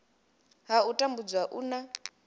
ha u tambudzwa u na